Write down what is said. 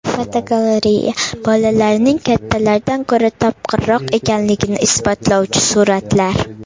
Fotogalereya: Bolalarning kattalardan ko‘ra topqirroq ekanligini isbotlovchi suratlar.